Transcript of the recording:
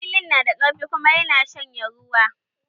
Lilin na da ƙarfi kuma ya na shanye ruwa